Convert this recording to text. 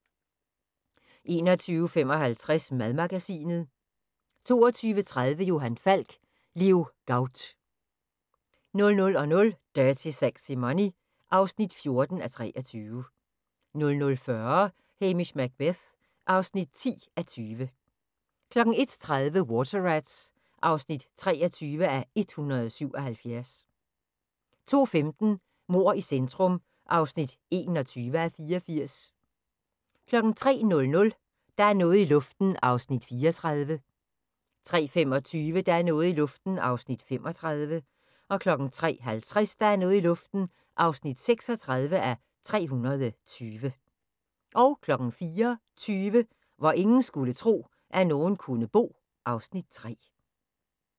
21:55: Madmagasinet 22:30: Johan Falk: Leo Gaut 00:00: Dirty Sexy Money (14:23) 00:40: Hamish Macbeth (10:20) 01:30: Water Rats (23:177) 02:15: Mord i centrum (21:84) 03:00: Der er noget i luften (34:320) 03:25: Der er noget i luften (35:320) 03:50: Der er noget i luften (36:320) 04:20: Hvor ingen skulle tro, at nogen kunne bo (Afs. 3)